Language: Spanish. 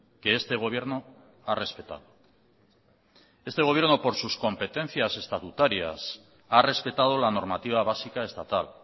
que este gobierno ha respetado este gobierno por sus competencias estatutarias ha respetado la normativa básica estatal